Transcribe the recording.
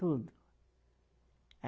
Tudo.